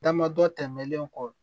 Dama dɔ tɛmɛnlen kɔ